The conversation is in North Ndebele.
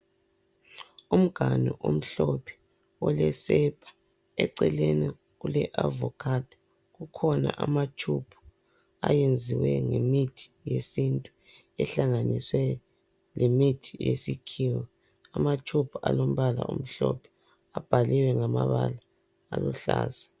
Umganu omhlophe olesepa eceleni kule avokhado kukhona amatshubhu ayenziwe ngemithi yesintu ehlanganiswe lemithi yesikhiwa amatshubhu alombala omhlophe abhaliwe ngamabala aluhlaza.